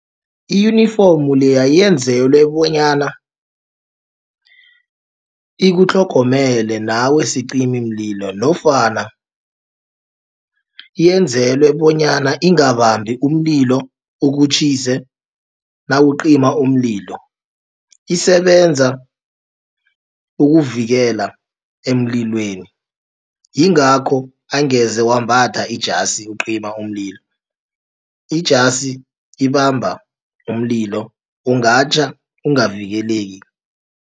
I-uniform leya yenzelwe bonyana ikutlhogomele nawe sicimimlilo nofana yenzelwe bonyana ingabambi umlilo ukutjhise nawucima umlilo. Isebenza ukuvikela emlilweni yingakho angeze wambatha ijasi ukucima umlilo. Ijasi ibamba umlilo ungatjha ungavikeleki.